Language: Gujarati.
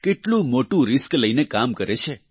કેટલું મોટું રિસ્ક લઈને કામ કરે છે